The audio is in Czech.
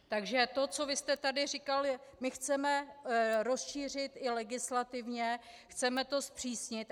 Takže to, co vy jste tady říkal, my chceme rozšířit i legislativně, chceme to zpřísnit.